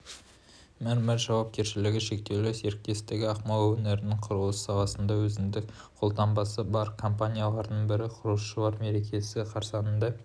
мәрмәр жауапкершілігі шектеулі серіктестігі ақмола өңірінің құрылыс саласында өзіндік қолтаңбасы бар компаниялардың бірі құрылысшылар мерекесі қарсаңында